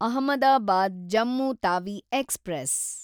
Ahmedabad Jammu Tawi express